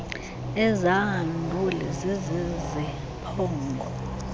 ezaa nduli ziziziphongo